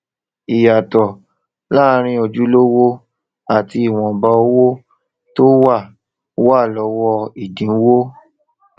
ìyàtò láàárín ojú owó àti ìwọnba owó tó wà wà lówó ni ìdínwó